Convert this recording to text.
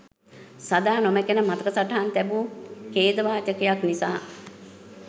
සදා නොමැකෙන මතක සටහන් තැබූ ඛේදවාචකයක් නිසා.